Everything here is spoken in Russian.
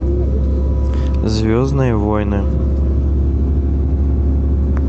звездные войны